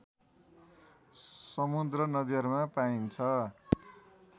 समुद्र नदीहरूमा पाइन्छ